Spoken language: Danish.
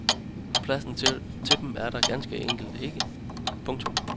Pladsen til dem er der ganske enkelt ikke. punktum